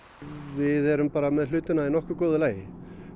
við erum bara með hlutina í nokkuð góðu lagi